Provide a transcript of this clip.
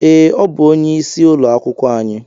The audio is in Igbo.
Ee, o bú onye ịsị ụlọ akwụkwọ anyị